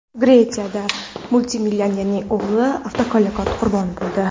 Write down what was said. Gretsiyada multimillionerning o‘g‘li avtohalokat qurboni bo‘ldi .